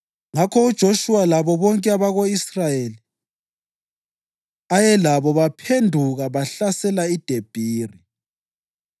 Ngakho uJoshuwa labo bonke abako-Israyeli ayelabo baphenduka bahlasela iDebhiri.